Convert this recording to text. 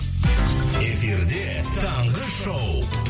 эфирде таңғы шоу